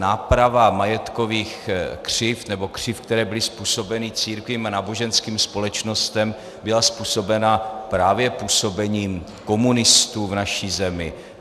Náprava majetkových křivd, nebo křivd, které byly způsobeny církvím a náboženským společnostem, byla způsobena právě působením komunistů v naší zemi.